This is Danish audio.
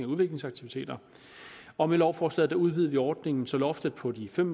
og udviklingsaktiviteter og med lovforslaget udvider vi ordningen så loftet på de fem